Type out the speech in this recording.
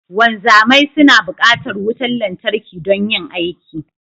Wanzamai suna bukatar wutar lantarki don yin aiki